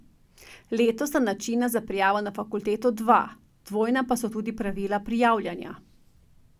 Letos sta načina za prijavo na fakulteto dva, dvojna pa so tudi pravila prijavljanja.